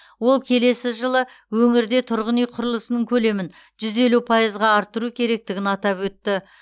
ол келесі жылы өңірде тұрғын үй құрылысының көлемін жүз елу пайызға арттыру керектігін атап өтті